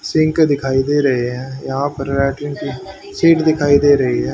Sink दिखाई दे रहे हैं यहां पर लैट्रिन की दिखाई दे रही है।